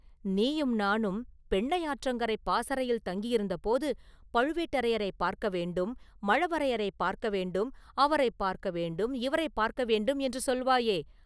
நீயும் நானும் பெண்ணையாற்றங்கரைப் பாசறையில் தங்கியிருந்த போது, ‘பழுவேட்டரையரைப் பார்க்க வேண்டும்; மழவரையரைப் பார்க்க வேண்டும்; அவரைப் பார்க்க வேண்டும்; இவரைப் பார்க்க வேண்டும்’ என்று சொல்வாயே?